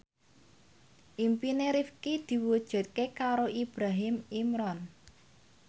impine Rifqi diwujudke karo Ibrahim Imran